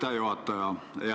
Aitäh, juhataja!